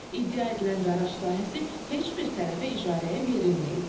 İddia edilən qaraj sahəsi heç bir tərəfə icarəyə verilməyib.